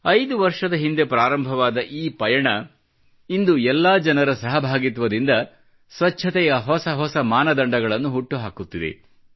5 ವರ್ಷದ ಹಿಂದೆ ಪ್ರಾರಂಭವಾದ ಈ ಪಯಣ ಇಂದು ಎಲ್ಲಾ ಜನರ ಸಹಭಾಗಿತ್ವದಿಂದ ಸ್ವಚ್ಚತೆಯ ಹೊಸ ಹೊಸ ಮಾನದಂಡಗಳನ್ನು ಹುಟ್ಟುಹಾಕುತ್ತಿದೆ